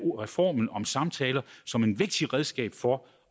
reformen om samtaler som et vigtigt redskab for